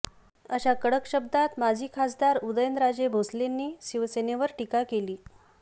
अशा कडक शब्दांत माजी खासदार उदयनराजे भोसलेंनी शिवसेनेवर टीका केली